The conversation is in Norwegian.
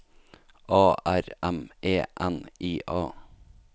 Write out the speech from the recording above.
A R M E N I A